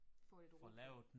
Få lidt ro på